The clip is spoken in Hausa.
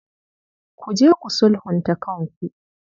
Ku je ku sulhunta kanku.